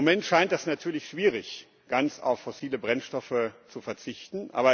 Im Moment scheint es natürlich schwierig, ganz auf fossile Brennstoffe zu verzichten.